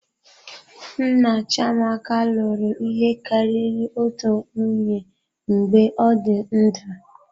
Nna Chiamaka lụrụ ihe karịrị otu nwunye mgbe ọ dị ndụ.